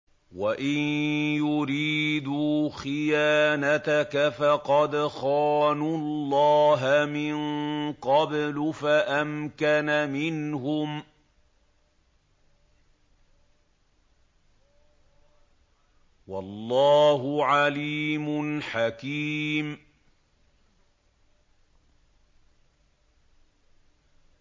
وَإِن يُرِيدُوا خِيَانَتَكَ فَقَدْ خَانُوا اللَّهَ مِن قَبْلُ فَأَمْكَنَ مِنْهُمْ ۗ وَاللَّهُ عَلِيمٌ حَكِيمٌ